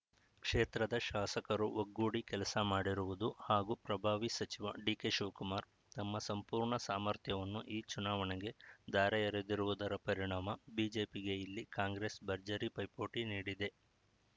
ಕ್ಷೇತ್ರದ ಶಾಸಕರು ಒಗ್ಗೂಡಿ ಕೆಲಸ ಮಾಡಿರುವುದು ಹಾಗೂ ಪ್ರಭಾವಿ ಸಚಿವ ಡಿಕೆಶಿವಕುಮಾರ್‌ ತಮ್ಮ ಸಂಪೂರ್ಣ ಸಾಮರ್ಥ್ಯವನ್ನು ಈ ಚುನಾವಣೆಗೆ ಧಾರೆಯೆರೆದಿರುವುದರ ಪರಿಣಾಮ ಬಿಜೆಪಿಗೆ ಇಲ್ಲಿ ಕಾಂಗ್ರೆಸ್‌ ಭರ್ಜರಿ ಪೈಪೋಟಿ ನೀಡಿದೆ